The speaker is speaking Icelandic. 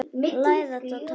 Læðast á tánum.